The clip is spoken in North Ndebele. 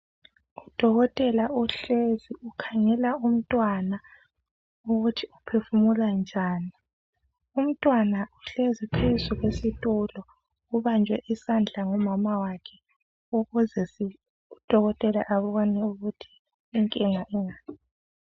Odokotela ehlezi ukhangela umntwana ukuthi uphefula njani. Umntwana uhlezi phezu kwesitulo, ubanjwe isandla lomama wakhe, ukuze odokotela abone ukuthi inkinga ingaphi.